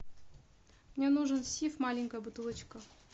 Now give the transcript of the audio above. мне нужен сиф маленькая бутылочка